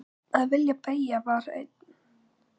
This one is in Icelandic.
Að vilji beggja var einn.